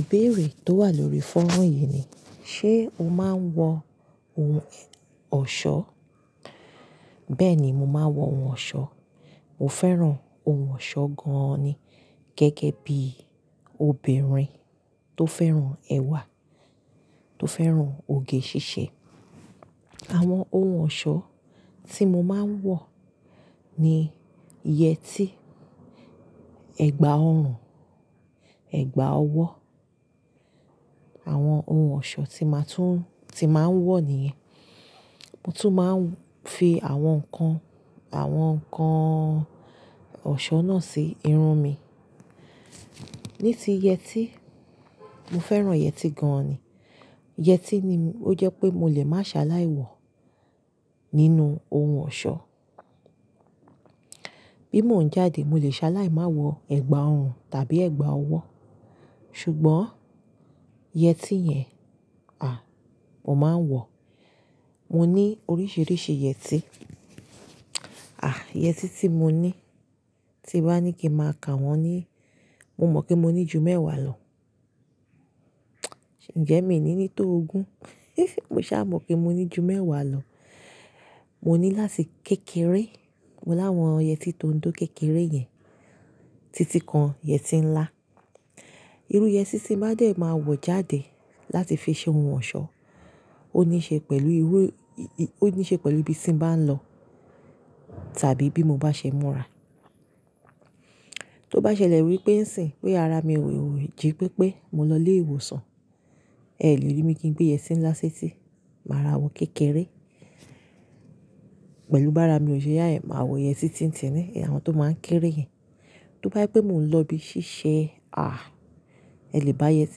Ìbéèrè tó wà lórí fónrán yìí ni, ṣe o máa ń wọ ohun ọ̀ṣọ́? Bẹ́ẹ̀ ni, mo máa ń wọ ohun ọ̀ṣọ́. Mo fẹ́ràn ohun ọ̀ṣọ́ gan-an ni. Gẹ́gẹ́ bí obìnrin tó fẹ́ràn ẹwà, tó fẹ́ràn òge ṣíṣe. Àwọn ohun ọ̀ṣọ́ tí mo máa ń wọ ni yẹtí, ẹ̀gbá ọrùn, ẹ̀gbá ọwọ́. Àwọn ohun ọ̀ṣọ́ tí máa tún-- tí màá ń wọ nìyẹn. Mo tún máa ń fi àwọn nǹkan, àwọn nǹkan ọ̀ṣọ́ náà sí irun mi. Ní ti yẹtí, mo fẹ́ràn yẹtí gan-an ni. Yẹtí ni ó jẹ́ pé mo lè máa ṣaláì wọ nínú ohun ọ̀ṣọ́. Bí mo ń jáde, mo lè ṣaláì máa wọ ẹ̀gbá ọrùn tàbí ẹ̀gbá ọwọ́. Ṣùgbọ́n yẹtí yẹn, à, mo máa ń wọ. Mo ní oríṣìíríṣìí yẹtí. À, yẹtí tí mo ní, tí bá ní kí n máa ka wọ́n ní, mo mọ̀ pé mo ní ju mẹ́wàá lọ. Ǹjẹ́ mi ò ní ní tó ogún? Mo ṣá mọ̀ pé mo ní ju mẹ́wàá lọ. Mo ní láti kékeré mo láwọn yẹtí tóńdó kékeré yẹn títí kan yẹtí ńlá. Irú yẹtí tí mo bá dẹ̀ máa wọ jáde láti fi ṣe ohun ọ̀ṣọ́ ó níí ṣe pẹ̀lú irú, ó níí ṣe pẹ̀lú ibi tí mo bá ń lọ tàbí bí mo bá ṣe múra. Tó bá ṣẹlẹ̀ wípé ń sìn, pé ara mi ò jí pípé, mo lọlé ìwòsàn, ẹ lè rí mi kí gbé yẹtí ńlá sé tí, màá ra wọ̀ kékeré. Pẹ̀lú bá ara mi ò ṣe yáa, èmi máa wọ yẹtí tí ń tini, àwọn tó máa ń kéré yẹn. Tó bá jẹ́ pé mo ń lọ ibi ṣíṣe, à, ẹ lè bá yẹtí,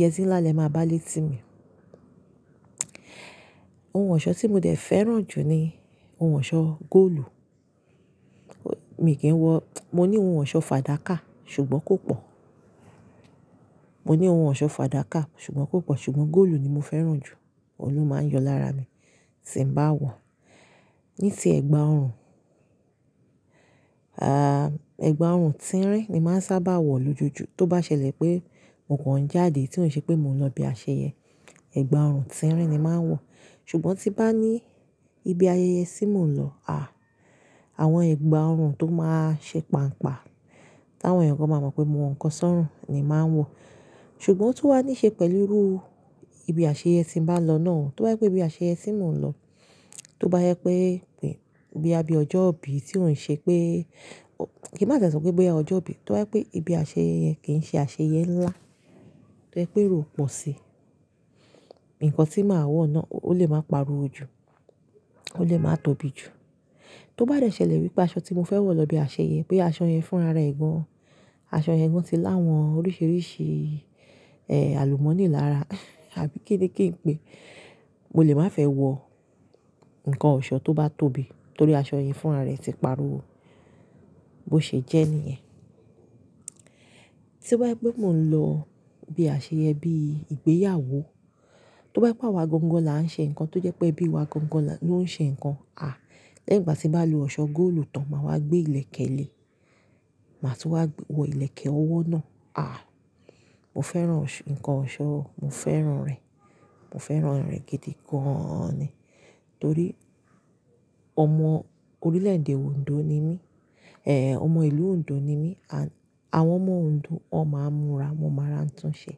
yẹtí ńlá lè máa bá lé tí mi. Ohun ọ̀ṣọ́ tí mo dẹ̀ fẹ́ràn jù ni ohun ọ̀ṣọ́ góòlù. Mi kì í wọ-- mo ní ohun ọ̀ṣọ́ fàdákà ṣùgbọ́n kò pọ̀. Mo ní ohun ọ̀ṣọ́ fàdákà ṣùgbọ́n kò pọ̀ ṣùgbọ́n góòlù ni mo fẹ́ràn jù. Òun ló máa ń yọ lára mi tí ń bá wọ̀. Ní ti ẹ̀gbá ọrùn, à, ẹ̀gbá ọrùn tínrín ni màá ń sábà wọ̀ lójoojúmọ́. Tó bá ṣẹlẹ̀ pé mo kàn jáde tí ó ń ṣe pé mo ń lọ ibi àṣeyẹ, ẹ̀gbá ọrùn tínrín ni màá ń wọ̀. Ṣùgbọ́n tí bá ní ibi ayẹyẹ tí mò ń lọ, à, àwọn ẹ̀gbá ọrùn tó máa ń ṣe pan'pa, tí àwọn èèyàn gan máa mọ̀ pé mo wọ nǹkan sórùn ni màá ń wọ̀. Ṣùgbọ́n ó tún wá níí ṣe pẹ̀lú irú ibi àṣeyẹ tí n bá lọ náà. Tó bá jẹ́ pé ibi àṣeyẹ tí mò ń lọ, tó bá yẹ pé boya bi ọjọ́ ìbí tí ò ń ṣe pé-- kí n má tie sọ pé boya ọjọ́ ìbí, tó bá jẹ́ pé ibi àṣeyẹyẹ kì í ṣe àṣeyẹ ńlá, tó jẹ́ pé ero pọ̀ si, nǹkan tí màá wọ̀ náà ó lè máa pariwo jù, ó lè máa tóbi jù. Tó bá dẹ ṣẹlẹ̀ wípé aṣọ tí mo fẹ́ wọ̀ lọ ibi àṣeyẹ, boya aṣọ yẹn fún ara ẹ̀ gan, aṣọ yẹn gan ti láwọn oríṣìíríṣìí, ẹ́, àlùmọ́nì lára àbí kí n ní kí n pé, mo lè má fẹ́ wọ nǹkan ọ̀ṣọ́ tó bá tóbi torí aṣọ yẹn fún ara ẹ ti pariwo bó ṣe jẹ́ níyẹn. Tí bá je yé mo ń lọ ibi àṣeyẹ bíi ìgbéyàwó, tó bá je wà gongon láà ń ṣe nǹkan tó jẹ́ pé ẹbí wa gọ́ngon loń ṣe nǹkan, à, lẹ́yìn ìgbà tí bá lo ọ̀ṣọ́ góòlù tán màá wá gbé ìlẹ̀kẹ̀ lé, màá tún wọ ìlẹ̀kẹ̀ ọwọ́ náà, à. Mo fẹ́ràn nǹkan ọ̀ṣọ́, mo fẹ́ràn rẹ̀, mo fẹ́ràn rẹ̀ gidi gan-an ni. Torí ọmọ orílẹ̀ẹ̀dè Ondo ni mí, ẹ́, ọmọ ìlú Ondo ni mí. Àwọn ọmọ Ondo won máa ń múra, wọ́n máa ará tun ṣẹ́.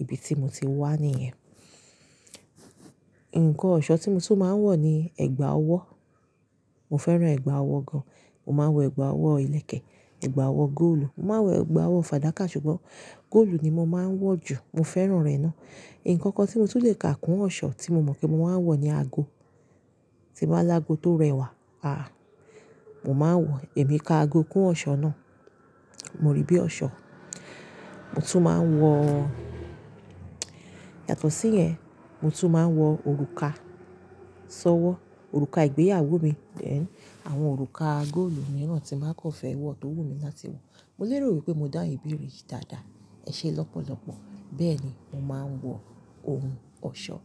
Ibi tí mo ti wá níyẹn. Nǹkan ọ̀ṣọ́ tí mo tún máa ń wọ̀ ni ẹ̀gbá ọwọ́. Mo fẹ́ràn ẹ̀gbá ọwọ́ gan. Mo máa ń wọ ẹ̀gbá ọwọ́ ìlẹ̀kẹ̀, ẹ̀gbá ọwọ́ góòlù. Mo máa ń wọ ẹ̀gbá ọwọ́ fàdákà ṣùgbọ́n góòlù ni mo máa ń wọ̀ jù. Mo fẹ́ràn rẹ̀ ná. Ǹkankan tí mo tún lè ka kún ọ̀ṣọ́ tí mo mọ̀ pé mo máa ń wọ̀ ni ago. Ti n bá lágo tó rẹwà, à, mo máa ń wọ, èmi ka ago kún ọ̀ṣọ́ náà. Mo ríi bí ọ̀ṣọ́. Mo tún máa ń wọ-- yàtọ̀ sí yẹn, mo tún máa ń wọ òrùka, sọ́wọ́, òrùka ìgbéyàwó mi. Then àwọn òrùka góòlù mìíràn tí n màá kòn fẹ́ wọ̀ tó wù mí láti wọ̀. Mo lérò wípé mo dáun ìbéèrè yìí dáadáa. Ẹ ṣe lọ́pọ̀lọ́pọ̀. Bẹ́ẹ̀ ni mo máa ń wọ ohun ọ̀ṣọ́.